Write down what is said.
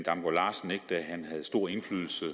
det han havde stor indflydelse